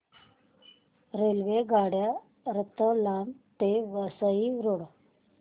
रेल्वेगाड्या रतलाम ते वसई रोड